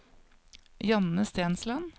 Janne Stensland